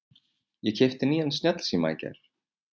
Ég keypti nýjan snjallsíma í gær.